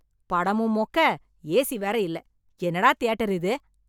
படமும் மொக்க, A C வேற இல்ல, என்னடா தியேட்டர் இது.